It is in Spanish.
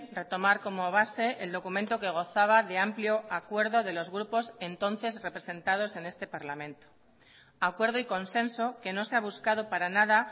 retomar como base el documento que gozaba de amplio acuerdo de los grupos entonces representados en este parlamento acuerdo y consenso que no se ha buscado para nada